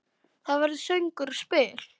Það verður söngur og spil.